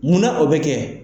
Muna o bɛ kɛ?